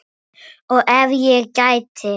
Og ef ég gæti?